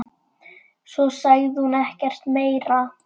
Svo sagði hún ekkert meira.